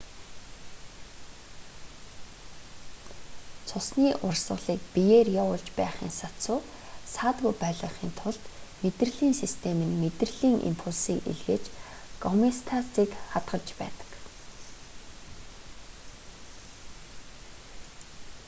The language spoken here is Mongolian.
цусны урсгалыг биеэр явуулж байхын сацуу саадгүй байлгахын тулд мэдрэлийн систем нь мэдрэлийн импульсийг илгээж гомеостазыг хадгалж байдаг